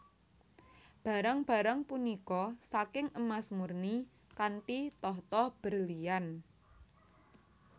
Barang barang punika saking emas murni kanthi tahta berlian